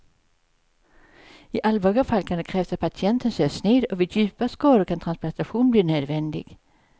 I allvarliga fall kan det krävas att patienten sövs ner och vid djupa skador kan transplantation bli nödvändig.